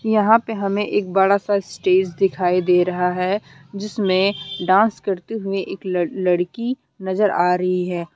यहां पे हमे एक बड़ा सा स्टेज दिखाई दे रहा है जिसमें डांस करती हुई एक लड़ लड़की नजर आ रही है।